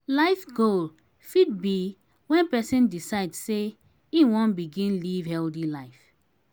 life goal fit be when person decide sey im wan begin live healthy life